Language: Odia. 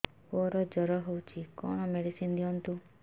ପୁଅର ଜର ହଉଛି କଣ ମେଡିସିନ ଦିଅନ୍ତୁ